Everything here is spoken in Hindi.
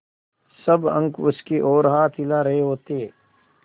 सब अंक उसकी ओर हाथ हिला रहे होते